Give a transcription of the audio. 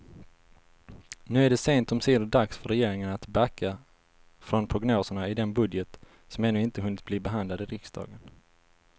Nu är det sent omsider dags för regeringen att backa från prognoserna i den budget som ännu inte hunnit bli behandlad i riksdagen.